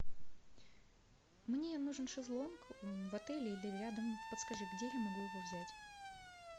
мне нужен шезлонг в отеле или рядом подскажи где я могу его взять